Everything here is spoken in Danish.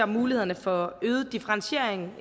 mulighederne for øget differentiering